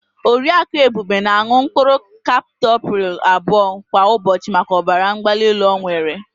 Oriaku Ebube na-an̄ụ mkpụrụ kaptopril abụọ kwa ụbọchị maka ọbara mgbalaelu ọ nwere.